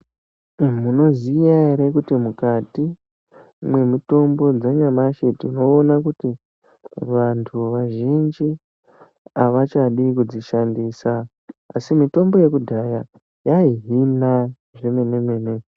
Munoziya ere kuti mukati mwemitombo dzanyamashi tinoona kuti vantu vazhinji havachadi kudzishandisa asi mitombo yekudhaya yaihinaa zvemene mene.